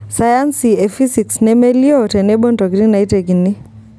Sayansi e fisics nemelioo tenebo ntokitin naitekini.